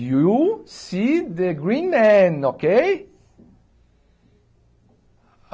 You see the green man, ok?